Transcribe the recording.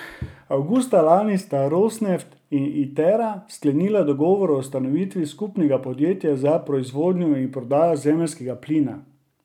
Avgusta lani sta Rosneft in Itera sklenila dogovor o ustanovitvi skupnega podjetja za proizvodnjo in prodajo zemeljskega plina.